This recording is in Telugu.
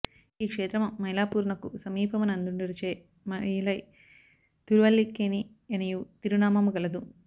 ఈ క్షేత్రము మైలాపూరునకు సమీపమునందుండుటచే మయిలై తిరువల్లిక్కేణి యనియు తిరునామము గలదు